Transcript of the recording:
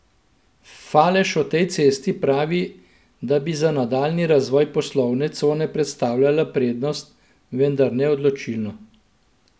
Falež o tej cesti pravi, da bi za nadaljnji razvoj poslovne cone predstavljala prednost, vendar ne odločilno.